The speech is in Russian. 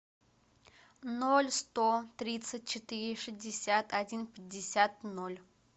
ноль сто тридцать четыре шестьдесят один пятьдесят ноль